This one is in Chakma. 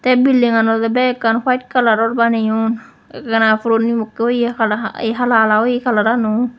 eh bildingan olowdey ekkan white kalaror baneyon ekkana puroni mokkey oye hala ye hala hala oye colour an ow.